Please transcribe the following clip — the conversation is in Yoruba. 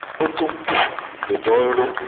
ó tún kù!' ni ìbọn nró!